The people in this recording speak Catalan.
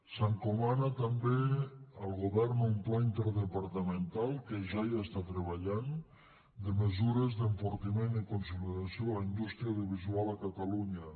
s’encomana també al govern un pla interdepartamental que ja hi està treballant de mesures d’enfortiment i consolidació de la indústria audiovisual a catalunya